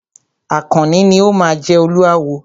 Àkànní ni o máa jẹ Olúawo.